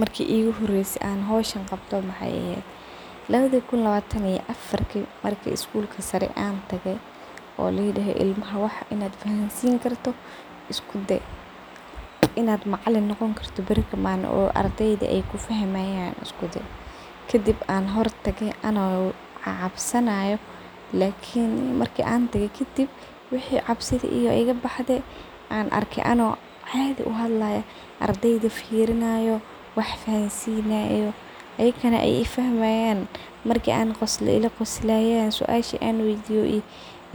Marki iguhoreyse an iskudaye wexey ehed lawadi kuun lawatan iyo afatri oo iskulka sare intan tage ardeyda in ad wax fahansini karto iskuday laigudahay, in ad macalin noqoni kartid malin oo ardeyda kufahmayan iskuday kadib anigo cabsanayo aya marki dambe wax arke anigo cabsidi igatagte oo ardeyda firinayo wax fahansinayo oo ayakana aey ifahmayan. Markan qoslo ila qoslayan suashan an weydiyo